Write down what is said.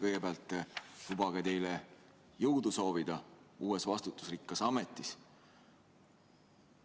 Kõigepealt lubage teile jõudu soovida uues vastutusrikkas ametis!